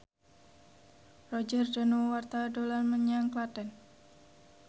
Roger Danuarta dolan menyang Klaten